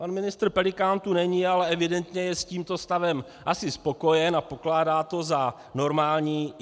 Pan ministr Pelikán tu není, ale evidentně je s tímto stavem asi spokojen a pokládá to za normální.